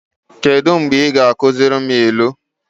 Kedụ mgbe ị ga-akuziri m ilu?